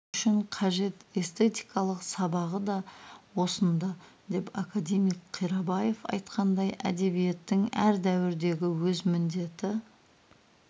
үшін қажет эстетикалық сабағы да осында деп академик қирабаев айтқандай әдебиеттің әр дәуірдегі өз міндеті